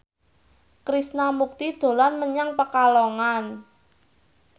Krishna Mukti dolan menyang Pekalongan